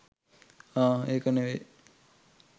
අහ් ඒක නෙමෙයි